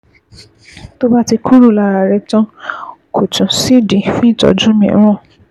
Tó bá ti kúrò lára rẹ tán, kò tún sídìí fún ìtọ́jú mìíràn